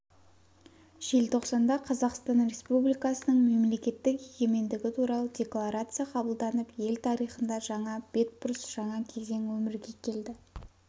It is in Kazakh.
желтоқсанда қазақстан республикасының мемлекеттік егемендігі туралы декларация қабылданып ел тарихында жаңа бетбұрыс жаңа кезең өмірге келді